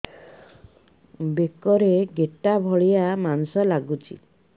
ବେକରେ ଗେଟା ଭଳିଆ ମାଂସ ଲାଗୁଚି